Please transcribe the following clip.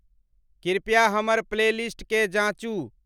कृपया हमर प्लेलिस्ट के जांचू